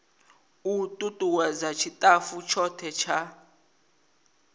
u tutuwedza tshitafu tshothe tsha